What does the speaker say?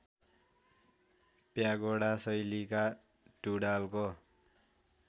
pagoda शैलीका टुँडालको